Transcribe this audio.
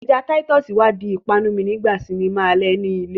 Ẹja Titus wá di ìpanu mi nígbà sinimá alẹ́ ni ilé